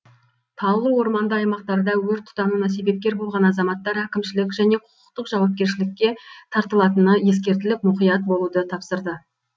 таулы орманды аймақтарда өрт тұтануына себепкер болған азаматтар әкімшілік және құқықтық жауапкершілікке тартылатыны ескертіліп мұқият болуды тапсырды